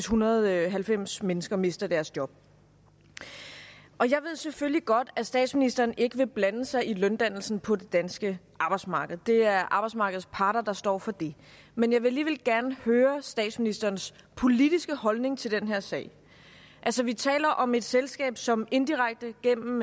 hundrede og halvfems mennesker mister deres job jeg ved selvfølgelig godt at statsministeren ikke vil blande sig i løndannelsen på det danske arbejdsmarked det er arbejdsmarkedets parter der står for det men jeg vil alligevel gerne høre statsministerens politiske holdning til den her sag altså vi taler om et selskab som indirekte gennem